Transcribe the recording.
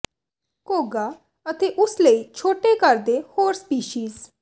ਘੋਗਾ ਅਤੇ ਉਸ ਲਈ ਛੋਟੇ ਘਰ ਦੇ ਹੋਰ ਸਪੀਸੀਜ਼